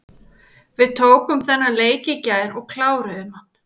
Við tókum þennan leik í gær og kláruðum hann.